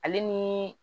Ale ni